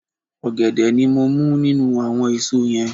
Ògèdè ni mo mú nínú àwon èso yen